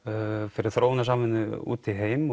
fyrir þróunar samvinnu út í heim